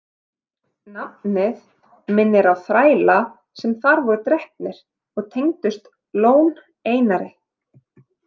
Nafnið minnir á þræla sem þar voru drepnir og tengdust Lón- Einari.